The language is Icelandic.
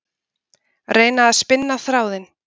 Reyna að spinna þráðinn